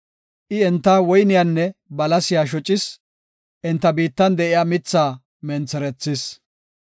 I enta woyniyanne balasiya shocis; enta biittan de7iya mithaa mentherethis.